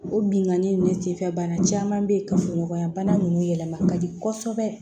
O bingani nin senfɛ bana caman bɛ yen kafoɲɔgɔnya bana ninnu yɛlɛma ka di kɔsɔbɛ